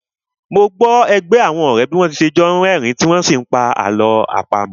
Mo gbọ́ ẹgbẹ́ àwọn ọ̀rẹ́ bí wọ́n n ṣe jọ́ ni rí ẹ̀rín tí wọ́n n sí pa àlọ́ àpamọ́